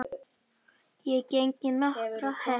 Ég geng í nokkrar hel